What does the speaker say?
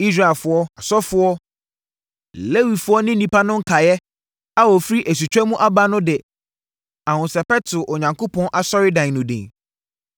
Israelfoɔ, asɔfoɔ, Lewifoɔ ne nnipa no nkaeɛ a wɔfiri asutwa mu aba no de ahosɛpɛ too Onyankopɔn asɔredan no din.